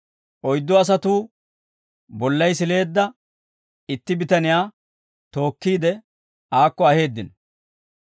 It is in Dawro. Oyddu asatuu bollay sileedda itti bitaniyaa tookkiide, aakko aheeddino.